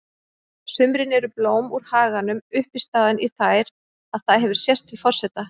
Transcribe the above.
sumrin eru blóm úr haganum uppistaðan í þær og það hefur sést til forseta